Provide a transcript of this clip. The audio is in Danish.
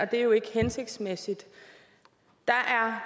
det er jo ikke hensigtsmæssigt der